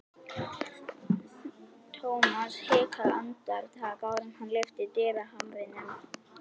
Thomas hikaði andartak áður en hann lyfti dyrahamrinum.